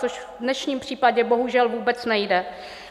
Což v dnešním případě bohužel vůbec nejde.